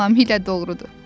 Tamamilə doğrudur,